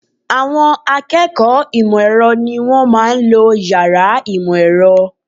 Àwọn akẹ́kọ̀ọ́ ìmọ̀ ẹ̀rọ ni wọ́n máa ń lo yàrá ìmọ̀ ẹ̀rọ